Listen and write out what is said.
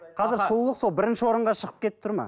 қазір сұлулық сол бірінші орынға шығып кетіп тұр ма